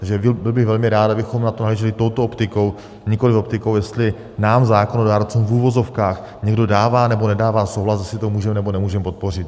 Takže byl bych velmi rád, abychom na to nahlíželi touto optikou, nikoliv optikou, jestli nám zákonodárcům v uvozovkách někdo dává, nebo nedává souhlas, jestli to můžeme, nebo nemůžeme podpořit.